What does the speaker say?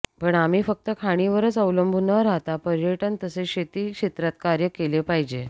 पण आम्ही फक्त खाणीवरच अवलंबून न राहता पर्यटन तसेच शेती क्षेत्रात कार्य केले पाहिजे